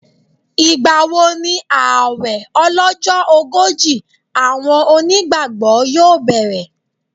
Ìgbà wo ni ààwẹ̀ ọlọ́jọ́ ogójì àwọn onígbàgbọ́ yóò bẹ̀rẹ̀?